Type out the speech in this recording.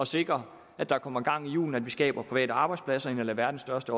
sikre at der kommer gang i hjulene og at vi skaber private arbejdspladser end at lade verdens største